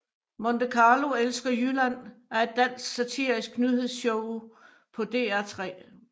Monte Carlo elsker Jylland er et dansk satirisk nyhedsshow på DR3